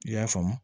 I y'a faamu